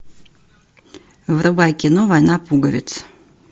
врубай кино война пуговиц